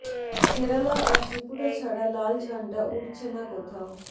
কেরালা আর ত্রিপুরা ছাড়া লাল ঝান্ডা উড়ছে না কোথাও